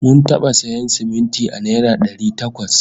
Mun taɓa sayan siminti a naira dari takwas